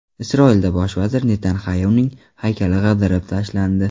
Isroilda bosh vazir Netanyaxuning haykali ag‘darib tashlandi.